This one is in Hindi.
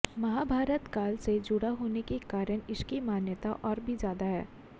महाभारतकाल से जुड़ा होने के कारण इसकी मान्यता और भी ज्यादा है